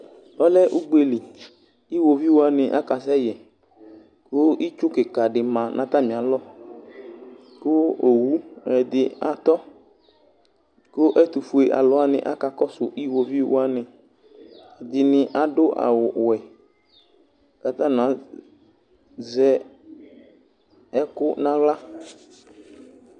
Ɔlɛ ugbeli, iwoviu wanɩ akasɛ yɛ; kʋ itsu kɩka dɩ ma nʋ atamɩ alɔKʋ owu ɛdɩ atɔ kʋ ɛtʋ fue alʋ wanɩ aka kɔsʋ iwoviu wanɩƐdɩnɩ adʋ awʋ wɛ katanɩ azɛ ɛkʋ naɣla